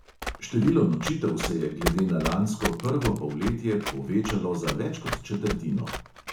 Število nočitev se je glede na lansko prvo polletje povečalo za več kot četrtino.